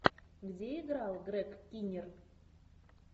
где играл грег киннир